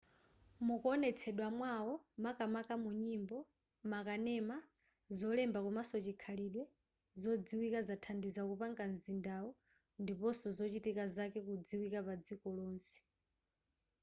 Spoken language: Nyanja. mukuonetsedwa mwawo makamaka munyimbo makanema zolemba komanso chikhalidwe zodziwika zathandiza kupanga mzindawu ndiponso zochitika zake kudziwika padziko lonse